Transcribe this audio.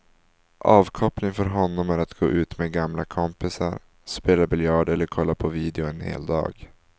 Avkoppling för honom är att gå ut med gamla kompisar, spela biljard eller kolla på video en hel dag.